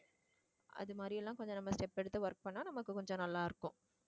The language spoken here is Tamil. அது மாதிரி எல்லாம் கொஞ்சம் நம்ம step எடுத்து work பண்ணா நமக்கு கொஞ்சம் நல்லா இருக்கும்